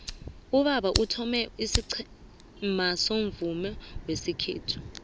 ubaba uthome isiqhema somvumo wesikhethu